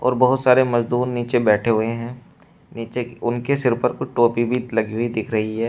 और बहोत सारे मजदूर नीचे बैठे हुए हैं नीचे उनके सिर पर टोपी भी लगी हुई दिख रही है।